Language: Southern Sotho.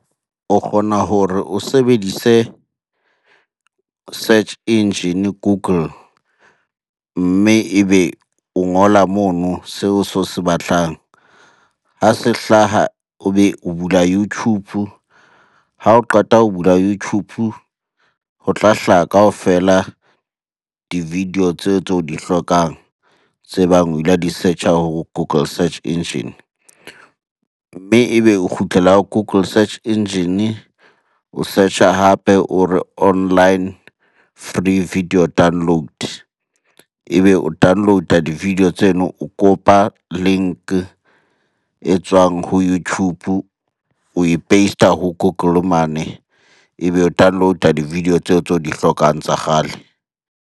O kgona hore o sebedise search engine Google, mme ebe o ngola mono seo se o se batlang. Ha se hlaha, o be o bula YouTube. Ha o qeta ho bula YouTube, ho tla hlaha kaofela di-video tseo tse o di hlokang tse bang o la di search-a ho Google search engine. Mme ebe o kgutlela Google search engine, o search-a hape o re, online free video download. Ebe o download-a di-video tseno, o copy-a link e tswang ho YouTube oe past-a ho Google mane. Ebe o download-a di-video tseo tse o di hlokang tsa kgale.